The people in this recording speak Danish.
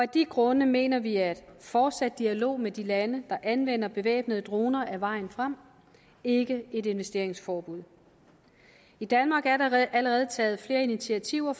de grunde mener vi at fortsat dialog med de lande der anvender bevæbnede droner er vejen frem ikke et investeringsforbud i danmark er der allerede taget flere initiativer